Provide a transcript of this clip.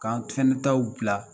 K'an fana taw bila